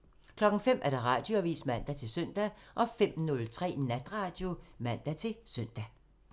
05:00: Radioavisen (man-søn) 05:03: Natradio (man-søn)